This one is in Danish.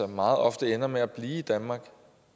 meget ofte ender med at blive i danmark